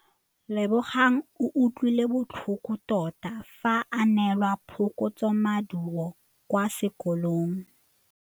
Lebogang o utlwile botlhoko tota fa a neelwa phokotsômaduô kwa sekolong.